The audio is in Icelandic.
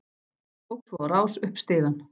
Tók svo á rás upp stigann.